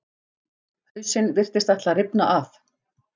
Hausinn virtist ætla að rifna af.